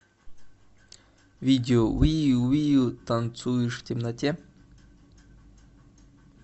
видео виу виу танцуешь в темноте